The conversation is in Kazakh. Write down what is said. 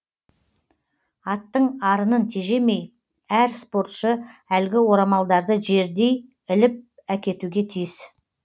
аттың арынын тежемей әр спортшы әлгі орамалдарды жердей іліп әкетуге тиіс